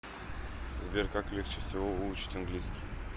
сбер как легче всего выучить английский